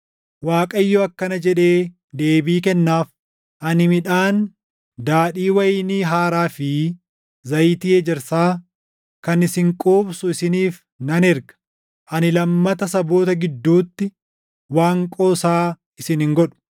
Waaqayyo akkana jedhee deebii kennaaf: “Ani midhaan, daadhii wayinii haaraa fi zayitii ejersaa kan isin quubsu isiniif nan erga; ani lammata saboota gidduutti waan qoosaa isin hin godhu.